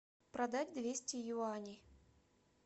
продать двести юаней